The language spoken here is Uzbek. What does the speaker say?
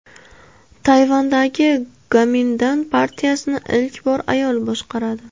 Tayvandagi Gomindan partiyasini ilk bor ayol boshqaradi.